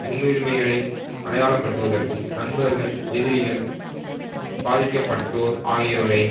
முன்னுரிமைகளை அடையாளப்படுத்துவதற்கும் நண்பர்கள் எதிரிகள் பாதிக்க பட்டோர் ஆகியோரை